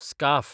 scarf